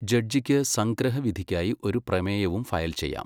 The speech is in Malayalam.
ജഡ്ജിക്ക് സംഗ്രഹ വിധിക്കായി ഒരു പ്രമേയവും ഫയൽ ചെയ്യാം.